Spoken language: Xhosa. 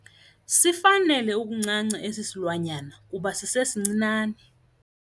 Sifanele ukuncanca esi silwanyana kuba sisesincinane.